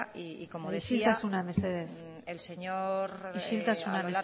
y como decía isiltasuna mesedez isiltasuna